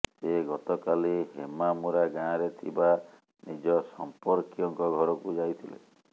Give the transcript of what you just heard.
ସେ ଗତକାଲି ହେମାମୁରା ଗାଁରେ ଥିବା ନିଜ ସମ୍ପର୍କୀୟଙ୍କ ଘରକୁ ଯାଇଥିଲେ